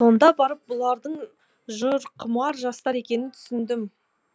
сонда барып бұлардың жырқұмар жастар екенін түсіндім